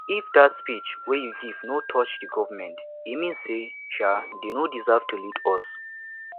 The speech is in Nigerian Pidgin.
if dat speech wey you give no touch the government e mean say um dey no deserve to lead us